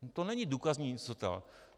To není důkazní nicota.